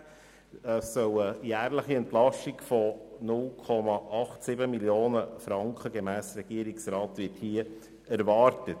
Damit erwartet der Regierungsrat eine jährliche Entlastung in der Höhe von 0,87 Mio. Franken.